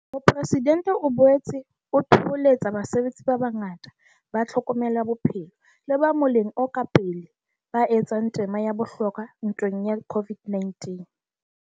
Mopresidentse o boetse a thoholetsa basebetsi ba bangata ba tlhokomelo ya bophelo le ba moleng o ka pele ba etsang tema ya bohlokwa ntweng ya COVID-19.